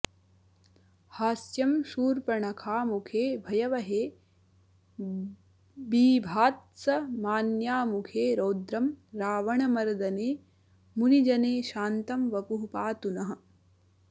हास्यं शूर्पणखामुखे भयवहे बीभात्समान्यामुखे रौद्रं रावणमर्दने मुनिजने शान्तं वपुः पातु नः